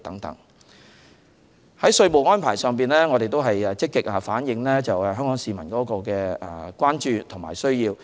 在稅務安排上，我們會積極反映香港市民的關注與需要。